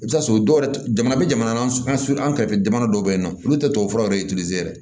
I bɛ t'a sɔrɔ dɔw yɛrɛ jamana bɛ jamana n'an kɛrɛfɛ jamana dɔw bɛ yen nɔ olu tɛ tubabu furaw yɛrɛ yɛrɛ